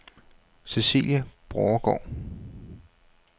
Cæcilie Borregaard